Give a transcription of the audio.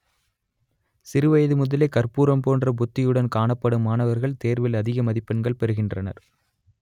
சிறு வயது முதலே கற்பூரம் போன்ற புத்தியுடன் காணப்படும் மாணவர்கள் தேர்வில் அதிக மதிப்பெண்கள் பெறுகின்றனர்